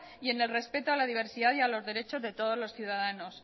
y en el respeto a la diversidad y a los derechos de todos los ciudadanos